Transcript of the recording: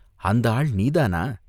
அந்த ஆள் நீதானா?